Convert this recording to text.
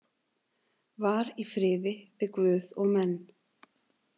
Var í friði við guð og menn.